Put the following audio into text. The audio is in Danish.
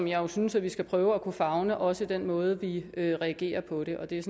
jo synes vi skal prøve at kunne favne også i den måde vi reagerer på det og det er